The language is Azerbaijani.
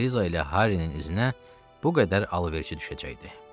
Eliza ilə Harrinin iznə bu qədər alverçi düşəcəkdi.